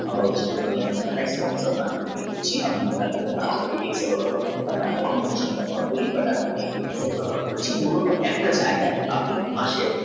আমার কথা সঙ্গে call করবেন আপনি যদি মূল একটা জায়গায় আপনি